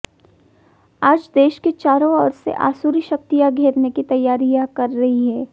आज देश को चारों ओर से आसुरी शक्तियां घेरने की तैयारियां कर रही हैं